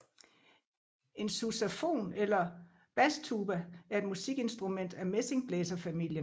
En Sousafon eller Bastuba er et musikinstrument af messingblæserfamilien